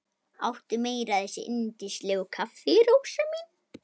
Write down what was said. Áttu meira af þessu yndislega kaffi, Rósa mín?